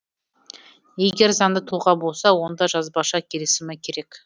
егер заңды тұлға болса онда жазбаша келісімі керек